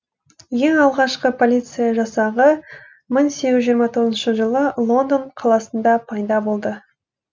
ең алғашқы полиция жасағы мың сегіз жүз жиырма тоғызыншы жылы лондон қаласында пайда болды